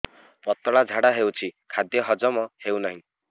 ପତଳା ଝାଡା ହେଉଛି ଖାଦ୍ୟ ହଜମ ହେଉନାହିଁ